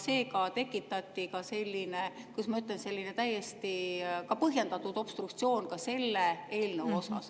Sellega tekitati ka selline, kuidas ma ütlen, täiesti põhjendatud obstruktsioon selle eelnõu puhul.